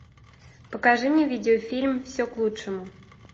покажи мне видеофильм все к лучшему